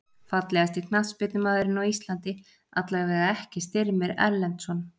Fallegasti knattspyrnumaðurinn á Íslandi: Allavega ekki Styrmir Erlendsson.